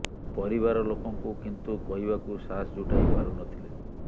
ପରିବାର ଲୋକଙ୍କୁ କିନ୍ତୁ କହିବାକୁ ସାହସ ଜୁଟାଇ ପାରୁ ନ ଥିଲେ